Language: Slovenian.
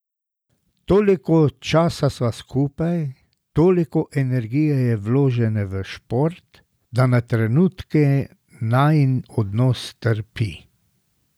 Toliko časa sva skupaj, toliko energije je vložene v šport, da na trenutke najin odnos trpi.